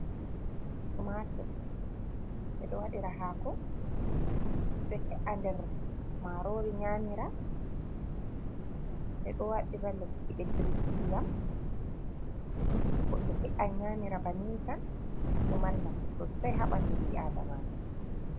Tomatur: Ɓedo waɗira hako, ɓeɗo he’a nder marori nymira, ɓeɗo waɗira lekki ɓediriki iyam, ɓeɗo he’a nyamira bannin tan. Ɗo mari nafu sosai ha ɓandu ɓi Adama.